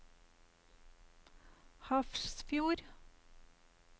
Hafrsfjord